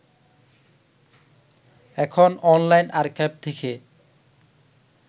এখন online archive থেকে